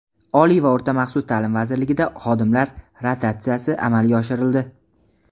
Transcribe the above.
Oliy va o‘rta maxsus taʼlim vazirligida xodimlar rotatsiyasi amalga oshirildi.